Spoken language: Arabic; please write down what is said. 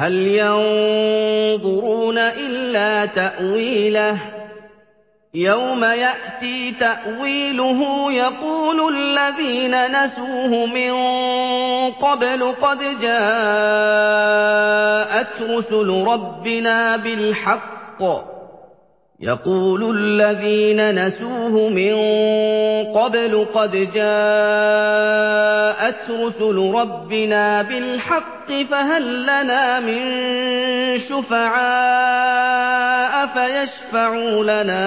هَلْ يَنظُرُونَ إِلَّا تَأْوِيلَهُ ۚ يَوْمَ يَأْتِي تَأْوِيلُهُ يَقُولُ الَّذِينَ نَسُوهُ مِن قَبْلُ قَدْ جَاءَتْ رُسُلُ رَبِّنَا بِالْحَقِّ فَهَل لَّنَا مِن شُفَعَاءَ فَيَشْفَعُوا لَنَا